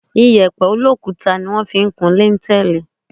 Iyẹ̀pẹ̀ olókuta ni wọ́n fi ń kún líńtẹẹ́lì.